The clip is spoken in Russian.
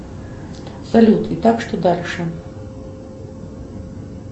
салют и так что дальше